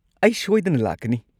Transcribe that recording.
ꯑꯩ ꯁꯣꯏꯗꯅ ꯂꯥꯛꯀꯅꯤ꯫